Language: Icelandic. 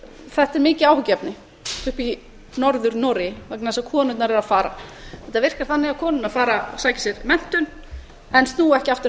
þetta er mikið áhyggjuefni uppi í norður noregi vegna þess að konurnar eru að fara þetta virkar þannig að konurnar fara og sækja sér menntun en snúa ekki aftur